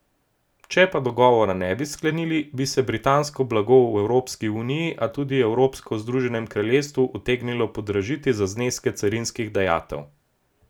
Če pa dogovora ne bi sklenili, bi se britansko blago v Evropsko uniji, a tudi evropsko v Združenem kraljestvu, utegnilo podražiti za zneske carinskih dajatev.